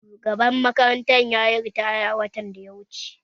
Shugaban makarantar yayi ritaya watan da ya wuce